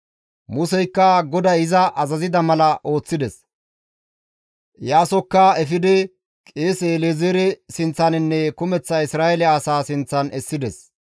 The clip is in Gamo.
Museykka GODAY iza azazida mala ooththides; Iyaasokka efidi qeese El7ezeere sinththaninne kumeththa Isra7eele asaa sinththan essides.